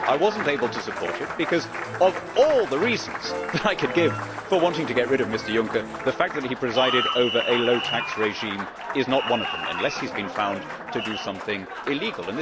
I was not able to support it because, of all the reasons that I could give for wanting to get rid of Mr Juncker, the fact that he presided over a low tax regime is not one of them, unless he has been found to have done something illegal.